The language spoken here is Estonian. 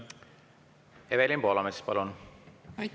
Evelin Poolamets, palun!